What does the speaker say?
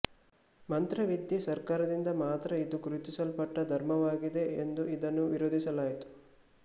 ಮಂತ್ರವಿದ್ಯೆ ಸರ್ಕಾರದಿಂದ ಮಾತ್ರ ಇದು ಗುರುತಿಸಲ್ಪಟ್ಟ ಧರ್ಮವಾಗಿದೆ ಎಂದು ಇದನ್ನು ವಿರೋಧಿಸಲಾಯಿತು